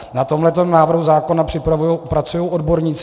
Na tomto návrhu zákona pracují odborníci.